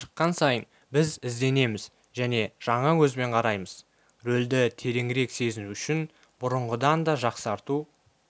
шыққан сайын біз ізденеміз және жаңа көзбен қараймыз рөлді тереңірек сезіну үшін бұрынғыдан да жақсарту